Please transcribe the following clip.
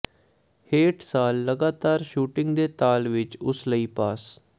ਹੇਠ ਸਾਲ ਲਗਾਤਾਰ ਸ਼ੂਟਿੰਗ ਦੇ ਤਾਲ ਵਿਚ ਉਸ ਲਈ ਪਾਸ